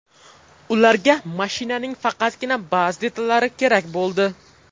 Ularga mashinaning faqatgina ba’zi detallari kerak bo‘ldi.